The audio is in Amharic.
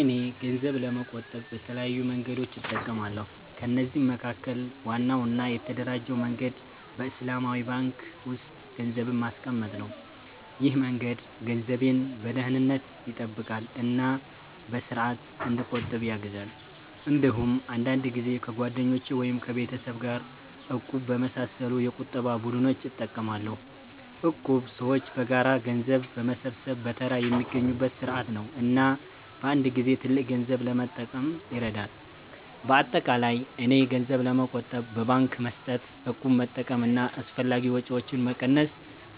እኔ ገንዘብ ለመቆጠብ በተለያዩ መንገዶች እጠቀማለሁ። ከነዚህ መካከል ዋናው እና የተደራጀው መንገድ በእስላማዊ ባንክ ውስጥ ገንዘብ ማስቀመጥ ነው። ይህ መንገድ ገንዘቤን በደህንነት ይጠብቃል እና በስርዓት እንዲቆጠብ ያግዛል። እንዲሁም አንዳንድ ጊዜ ከጓደኞች ወይም ከቤተሰብ ጋር “እቁብ” በመሳሰሉ የቁጠባ ቡድኖች እጠቀማለሁ። እቁብ ሰዎች በጋራ ገንዘብ በመሰብሰብ በተራ የሚያገኙበት ስርዓት ነው እና በአንድ ጊዜ ትልቅ ገንዘብ ለመጠቀም ይረዳል። በአጠቃላይ እኔ ገንዘብ ለመቆጠብ በባንክ መስጠት፣ እቁብ መጠቀም እና አላስፈላጊ ወጪዎችን መቀነስ